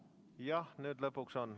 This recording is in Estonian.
Jah, nüüd lõpuks on.